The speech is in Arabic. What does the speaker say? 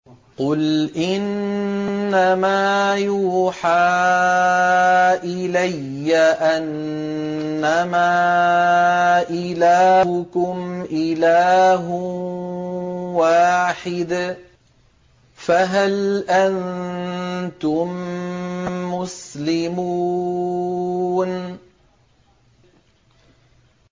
قُلْ إِنَّمَا يُوحَىٰ إِلَيَّ أَنَّمَا إِلَٰهُكُمْ إِلَٰهٌ وَاحِدٌ ۖ فَهَلْ أَنتُم مُّسْلِمُونَ